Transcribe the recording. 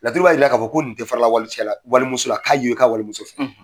Laturu b'a yira k'a fɔ ko nin tɛ fara la wali cɛ la wali muso la. K'a ye o ye ka wali muso fɛ.